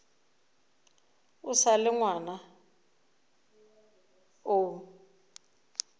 o sa le ngwana o